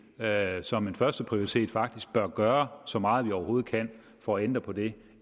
at folketinget som en førsteprioritet faktisk bør gøre så meget vi overhovedet kan for at ændre på det